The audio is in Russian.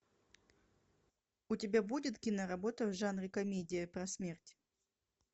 у тебя будет кино работа в жанре комедия про смерть